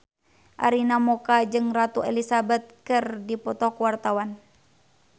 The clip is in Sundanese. Arina Mocca jeung Ratu Elizabeth keur dipoto ku wartawan